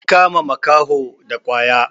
an kama wani makaho da kwaya